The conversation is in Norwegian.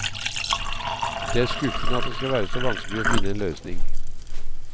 Det er skuffende at det skal være så vanskelig å finne en løsning.